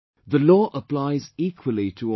The law applies equally to all